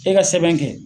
E ka sɛbɛn kɛ